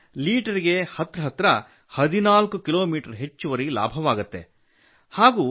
ಇದರಿಂದ ಲೀಟರ್ ಗೆ ಹತ್ತಿರ ಹತ್ತಿರ 14 ಕಿಲೋಮೀಟರ್ ಹೆಚ್ಚುವರಿ ಲಾಭವಾಗುತ್ತದೆ